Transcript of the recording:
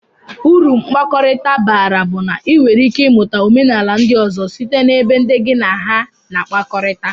Uru mkpakọrita bara bu na inwere ike imuta omenala ndi ozo site na ebe ndi gi na aha na akpakọrita.